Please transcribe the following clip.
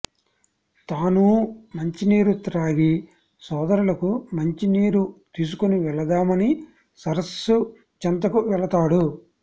తానూ మంచినీరు త్రాగి సోదరులకు మంచి నీరు తీసుకొనివెళదామని సరస్సు చెంతకు వెళతాడు